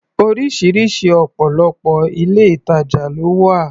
Oríṣiríṣi ọ̀pọ̀lọpọ̀ ilé-ìtajà ló wà